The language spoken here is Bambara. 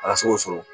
Ala se k'o sɔrɔ